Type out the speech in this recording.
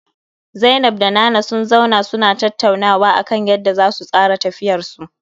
Zainab da Nana sun zauna suna tattaunawa akan yanda zasu tsara tafiyarsu